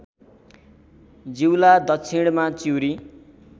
जिउला दक्षिणमा चिउरी